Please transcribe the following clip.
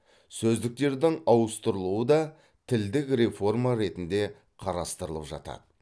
сөздіктердің ауыстырылуы да тілдік реформа ретінде қарастырылып жатады